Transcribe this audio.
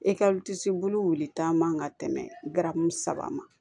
E ka bulu wuli taa man ka tɛmɛ garamu saba ma